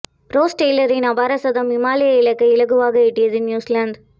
rose டெய்லரின் அபார சதம் இமாலய இலக்கை இலகுவாக எட்டியது நியூஸிலாந்து